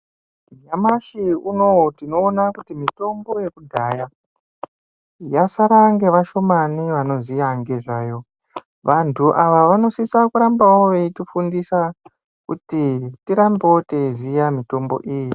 Nyamashi unouyu tinoona kuti mitombo yekudhaya yasara ngevashomani vanoziya ngezvayo vantu ava vanosisawo kuramba veitifundisa kuti tirambewo teiziya mitombo iyi .